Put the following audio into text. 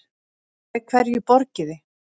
Með hverju borgiði?